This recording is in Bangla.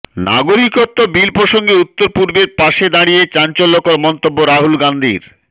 নাগরিকত্ব বিল প্রসঙ্গে উত্তরপূর্বের পাশে দাঁড়িয়ে চাঞ্চল্যকর মন্তব্য রাহুল গান্ধীর